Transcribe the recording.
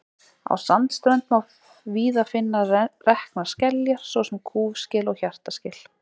Á sandströnd má víða finna reknar skeljar, svo sem kúfskel og hjartaskel.